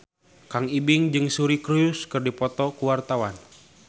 Kang Ibing jeung Suri Cruise keur dipoto ku wartawan